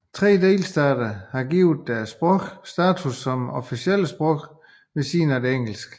Tre delstater har givet andre sprog status som officielle sprog ved siden af engelsk